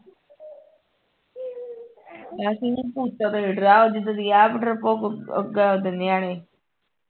ਬਸ ਇਹਨਾਂ ਨੂੰ ਭੂਤਾਂ ਤੇ ਹੀ ਡਰ ਜਿੱਦਾਂ ਦੀ ਆਪ ਡਰਪੋਕ ਓਦਾਂ ਓਦਾਂ ਦੇ ਨਿਆਣੇ